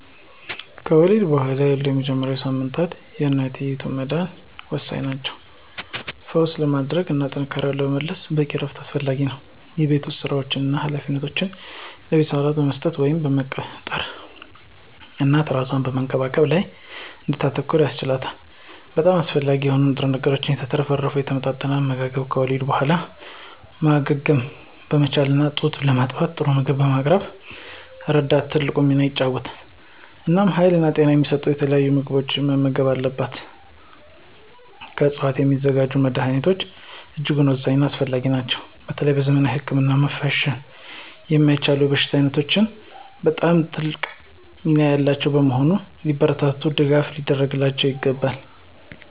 ከወሊድ በኋላ ያሉት የመጀመሪያዎቹ ሳምንታት ለእናትየው መዳን ወሳኝ ናቸው። ፈውስ ለማራመድ እና ጥንካሬን ለመመለስ በቂ እረፍት አስፈላጊ ነው። የቤት ውስጥ ሥራዎችን እና ኃላፊነቶችን ለቤተሰብ አባላት መስጠት ወይም መቅጠር እናት እራሷን በመንከባከብ ላይ እንድታተኩር ያስችላታል። በጣም አስፈላጊ በሆኑ ንጥረ ነገሮች የተትረፈረፈ የተመጣጠነ አመጋገብ ከወሊድ በኋላ ማገገምን በማመቻቸት እና ጡት በማጥባት ጥሩ ምግብ በማቅረብ ረገድ ትልቅ ሚና ይጫወታል። እናም ሀይልና ጤና የሚሰጡ የተለያዩ ምግቦችን መመገብ አለባቸው። ከዕፅዋት የሚዘጋጁ መድኀኒቶች እጅጉን ወሳኝና አስፈላጊ ናቸው በተለይ በዘመናዊ ህክምና መሸፈን የማይችሉ የበሽታ ዓይነቶች በጣም ትልቅ ሚና ያላቸው በመሆኑ ሊበረታቱና ድጋፍ ሊደረግላቸው ይገባል።